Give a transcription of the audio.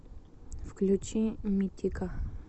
включи митика